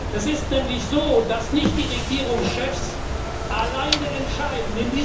Es ist nämlich so, dass nicht die Regierungschefs alleine entscheiden.